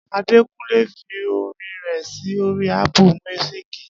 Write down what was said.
Adekunle fi orin rẹ̀ sí orí Ápù míúsìkì